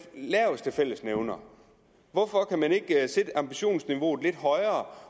laveste fællesnævner hvorfor kan man ikke sætte ambitionsniveauet lidt højere